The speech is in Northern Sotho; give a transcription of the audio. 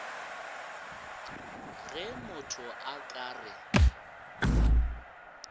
ge motho a ka re